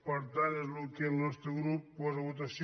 per tant és el que el nostre grup posa a votació